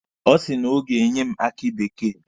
Ọ sị na o ga-enye m aki bekee.